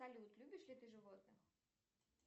салют любишь ли ты животных